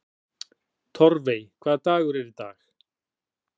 Torfey, hvaða dagur er í dag?